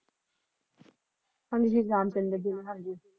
ਹਾਂਜੀ ਰਾਮ ਚੰਦਰ ਜੀ ਹਨ ਜੀ